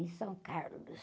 Em.